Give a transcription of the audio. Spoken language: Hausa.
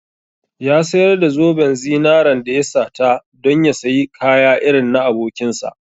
Ya sayar da zoben zinaren da ya sata don ya sayi kaya irin na abokinsa.